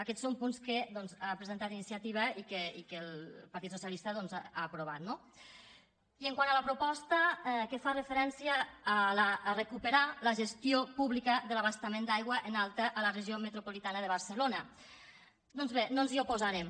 aquests són punts doncs que ha presentat iniciativa i que el partit socialista doncs ha aprovat no i quant a la proposta que fa referència a recuperar la gestió pública de l’abastament d’aigua en alta a la regió metropolitana de barcelona doncs bé no ens hi oposarem